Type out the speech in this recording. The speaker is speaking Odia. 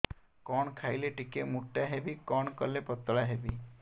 କଣ ଖାଇଲେ ଟିକେ ମୁଟା ହେବି କଣ କଲେ ପତଳା ହେବି